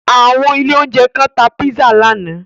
Àwọn ilé-oúnjẹ kan tá pizza lánàá.